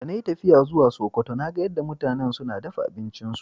De na yi tafiya zuwa Sokoto, na gan yadda mutanen suna dafan abincin su.